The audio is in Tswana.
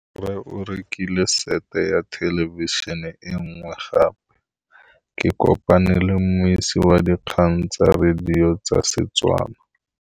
Rre o rekile sete ya thêlêbišênê e nngwe gape. Ke kopane mmuisi w dikgang tsa radio tsa Setswana.